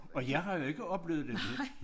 Og jeg har jo ikke oplevet det